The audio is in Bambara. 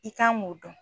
I kan k'o dɔn